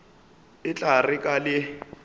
e tla re ka le